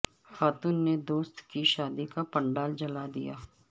خاتون نے دوست کی شادی کا پنڈال جلا دیا